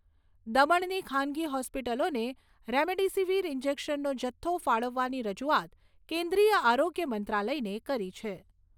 દમણની ખાનગી હોસ્પિટલોને રેમડેસીવીર ઈન્જેકશનનો જથ્થો ફાળવવાની રજૂઆત કેન્દ્રિય આરોગ્ય મંત્રાલયને કરી છે.